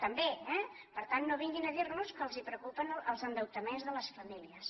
també eh per tant no vinguin a dir nos que els preocupen els endeutaments de les famílies